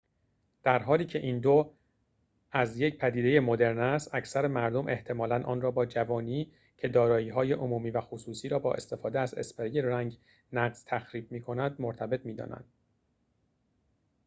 در حالی که این دور از یک پدیده مدرن است اکثر مردم احتمالاً آن را با جوانی که دارایی های عمومی و خصوصی را با استفاده از اسپری رنگ نقض تخریب می‌کند مرتبط می دانند